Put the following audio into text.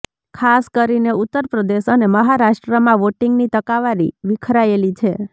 ખાસ કરીને ઉત્તરપ્રદેશ અને મહારાષ્ટ્રમાં વોટિંગની ટકાવારી વિખરાયેલી છે